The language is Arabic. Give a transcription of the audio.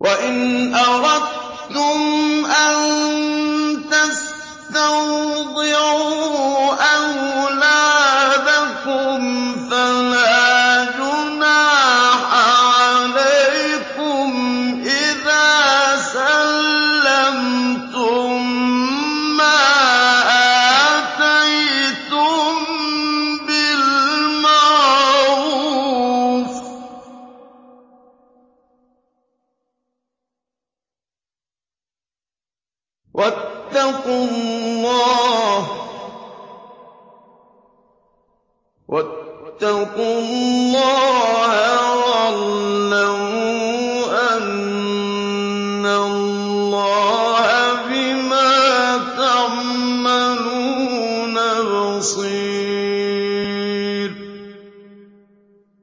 وَإِنْ أَرَدتُّمْ أَن تَسْتَرْضِعُوا أَوْلَادَكُمْ فَلَا جُنَاحَ عَلَيْكُمْ إِذَا سَلَّمْتُم مَّا آتَيْتُم بِالْمَعْرُوفِ ۗ وَاتَّقُوا اللَّهَ وَاعْلَمُوا أَنَّ اللَّهَ بِمَا تَعْمَلُونَ بَصِيرٌ